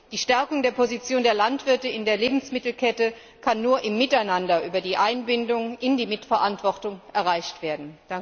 Die Stärkung der Position der Landwirte in der Lebensmittelkette kann nur im Miteinander über die Einbindung in die Mitverantwortung erreicht werden.